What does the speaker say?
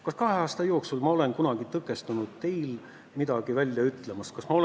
Kas ma kahe aasta jooksul olen kunagi tõkestanud teid midagi välja ütlemast?